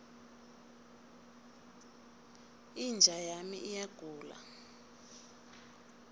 inja yami iyagula